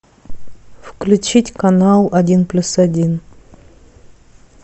включить канал один плюс один